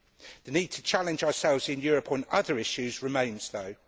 The need to challenge ourselves in Europe on other issues remains, though.